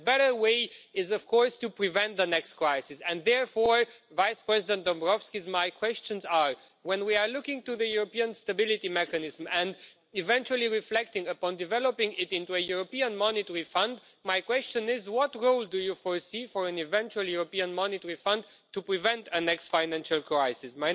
The better way is, of course, to prevent the next crisis. Therefore, Vice President Dombrovskis, my questions are when we are looking to the European Stability Mechanism and eventually reflecting upon developing it into a European monetary fund, what goal do you foresee for a possible European monetary fund in preventing the next financial crisis?